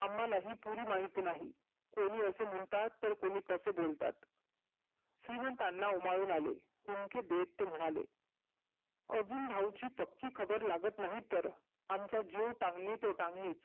अम्हाला ही पुरी माहिती नाही. कोणि असे म्हणतात तर कोणी तसे बोलतात. श्रिमंतांना ओमाळून आले, हुंकी देत ते म्हणाले. आजून भाऊजी पक्की खबर लागत नाही तर. आमचा जिव टांगनी तो टांगनीचं.